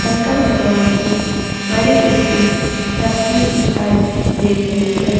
शंकर भगवान की बड़ी जैसी तस्वीर दिखाई दे रही है।